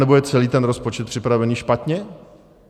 Anebo je celý ten rozpočet připravený špatně?